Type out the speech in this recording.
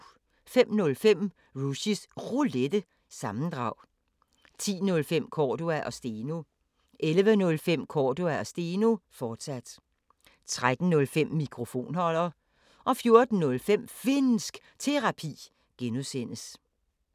05:05: Rushys Roulette – sammendrag 10:05: Cordua & Steno 11:05: Cordua & Steno, fortsat 13:05: Mikrofonholder 14:05: Finnsk Terapi (G)